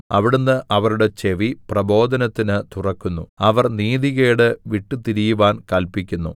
അവിടുന്ന് അവരുടെ ചെവി പ്രബോധനത്തിന് തുറക്കുന്നു അവർ നീതികേട് വിട്ടുതിരിയുവാൻ കല്പിക്കുന്നു